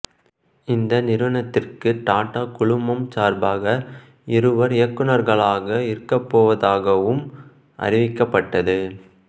இந்த நிறுவனத்திற்கு டாட்டா குழுமம் சார்பாக இருவர் இயக்குநர்களாக இருக்கப்போவதாகவும் அறிவிக்கப்பட்டது